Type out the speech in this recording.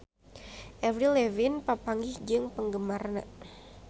Avril Lavigne papanggih jeung penggemarna